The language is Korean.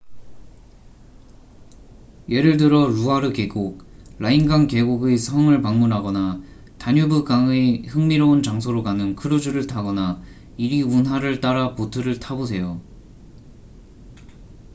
예를 들어 루아르 계곡 라인강 계곡의 성을 방문하거나 다뉴브강의 흥미로운 장소로 가는 크루즈를 타거나 이리 운하를 따라 보트를 타보세요